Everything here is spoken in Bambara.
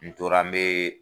N tora an me